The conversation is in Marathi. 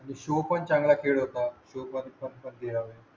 आणि शो पण चांगला खेळ होता